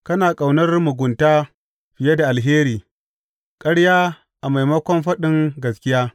Kana ƙaunar mugunta fiye da alheri, ƙarya a maimakon faɗin gaskiya.